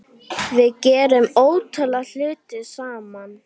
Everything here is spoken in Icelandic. Við gerðum ótal hluti saman.